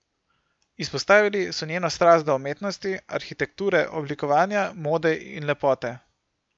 Izpostavili so njeno strast do umetnosti, arhitekture, oblikovanja, mode in lepote.